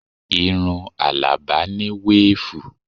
Irun Alaba ni weefu